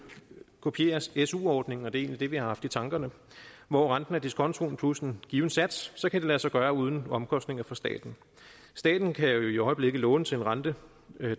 kopierer su ordningen og det er egentlig det vi har haft i tankerne hvor renten er diskontoen plus en given sats så kan det lade sig gøre uden omkostninger for staten staten kan jo i øjeblikket låne til en rente